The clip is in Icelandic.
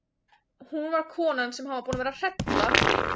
Hún var konan sem hann var búinn að vera að hrella!